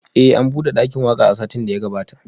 Eh an bude dakin waka a satin da ya gabata